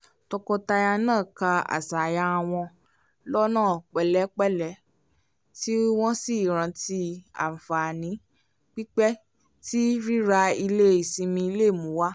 tọkọtaya náà kà àṣàyàn wọ́n lọ́nà pẹ̀lẹ́pẹ̀lẹ́ tí wọ́n sì rántí àǹfààní pípẹ̀ tí rírà ilé ìsinmi le mu wá